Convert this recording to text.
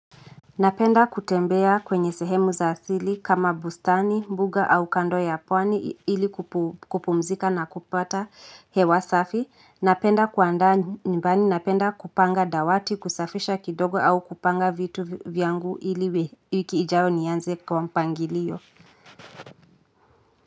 Napenda kutembea kwembea kwenye sehemu za asili kama bustani mbuga au kando ya pwani ili kupumzika na kupata hewa safi napenda kuandaa nyumbani napenda kupanga dawati kusafisha kidogo au kupanga vitu vyangu ili wiki ijayo nianze kwa mpangilio.